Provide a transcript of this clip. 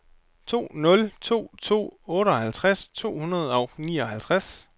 to nul to to otteoghalvtreds to hundrede og nioghalvtreds